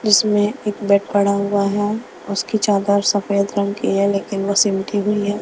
जिसमें एक बेड पड़ा हुआ है उसकी चादर सफेद रंग की है लेकिन वो सिमटी हुई है।